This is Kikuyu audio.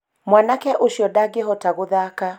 mwanake ũciondangĩhota gũthaka